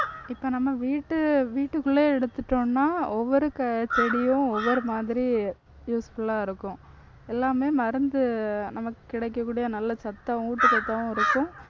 இப்ப நம்ம வீட்டு வீட்டுக்குள்ளேயே எடுத்துட்டோம்ன்னா ஒவ்வொரு செடியும் ஒவ்வொரு மாதிரி useful ஆ இருக்கும். எல்லாமே மருந்து நமக்கு கிடைக்கக்கூடிய நல்ல சத்தாவும் ஊட்டச்சத்தாவும் இருக்கும்.